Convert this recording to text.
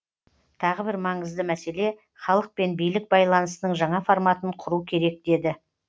тағы бір маңызды мәселе халық пен билік байланысының жаңа форматын құру керек деді